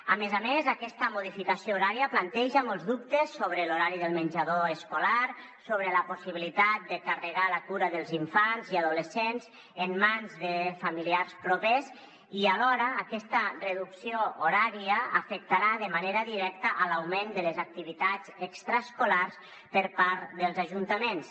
a més a més aquesta modificació horària planteja molts dubtes sobre l’horari del menjador escolar sobre la possibilitat de carregar la cura dels infants i adolescents en mans de familiars propers i alhora aquesta reducció horària afectarà de manera directa l’augment de les activitats extraescolars per part dels ajuntaments